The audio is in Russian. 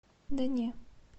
да не